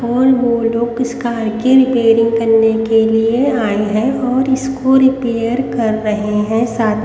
और वो लोग इस कार की रिपेयरिंग करने के लिए आए हैं और इसको रिपेयर कर रहे हैं साथ--